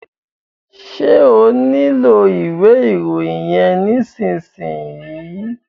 Ṣé o nílò ìwé ìròyìn yẹn nísìsiyìí?